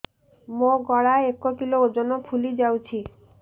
ମୋ ଗଳା ଏକ କିଲୋ ଓଜନ ଫୁଲି ଯାଉଛି